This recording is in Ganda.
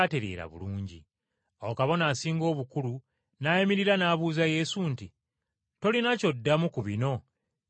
Awo Kabona Asinga Obukulu n’ayimirira, n’abuuza Yesu nti, “Tolina ky’oddamu ku bino bye bakwogerako?”